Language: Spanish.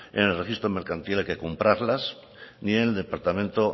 en el registro mercantil hay que comprarlas ni en el departamento